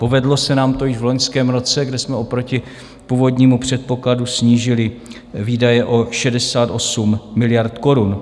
Povedlo se nám to již v loňském roce, kde jsme oproti původnímu předpokladu snížili výdaje o 68 miliard korun.